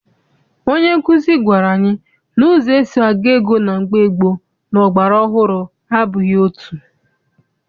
Onye nkuzi gwara anyị na ụzọ esi agụ ego na mgbe gboo na ọgbara ọhụrụ abụghị otu.